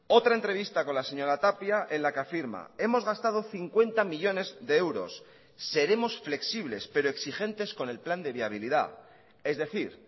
otra entrevista con la señora tapia en la que afirma hemos gastado cincuenta millónes de euros seremos flexibles pero exigentes con el plan de viabilidad es decir